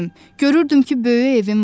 Görürdüm ki, böyük evim var.